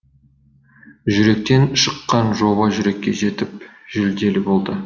жүректен шыққан жоба жүрекке жетіп жүлделі болды